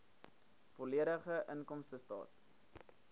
volledige inkomstestaat